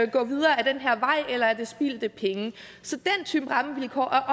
gå videre ad den her vej eller er det spildte penge så den type rammevilkår er